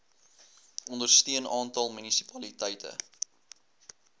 ondersteun aantal munisipaliteite